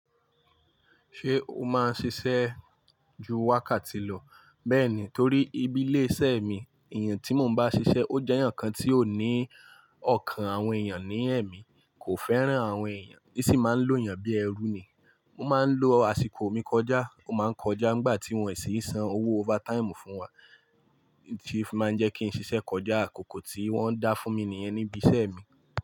Ṣé o máa ń ṣiṣẹ́ ju wákàtí lọ? Bẹ́ẹ̀ni, torí ibi ilé-iṣẹ́ mi, ẹ̀yàn tí mo bá ń ṣiṣẹ́ ó jẹ́ ẹ̀yàn kan tí ó ní ọ̀kàn àwọn èèyàn ní ẹ̀mí, kò fẹ́ràn àwọn èèyàn, ó sì máa ń lo èèyàn bíi ẹrú ni. Mo máa ń lo àsìkò mi kọjá, mo máa ń kọjá nígbà tí wọ́n sì ń san owó overtime fún wa, tí ó fi máa ń jẹ́ kí n ṣiṣẹ́ kọjá àkókò tí wọ́n dá fún mi nìyẹn ní ibiṣẹ́ mi.